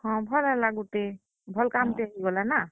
ହଁ, ଭଲ୍ ହେଲା ଗୁଟେ, ଭଲ୍ କାମ୍ ଟେ ହେଇଗଲା ନାଁ।